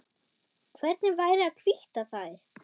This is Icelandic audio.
Hvernig væri að hvítta þær?